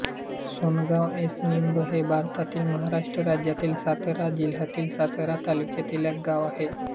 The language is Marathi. सोनगाव एस निंब हे भारतातील महाराष्ट्र राज्यातील सातारा जिल्ह्यातील सातारा तालुक्यातील एक गाव आहे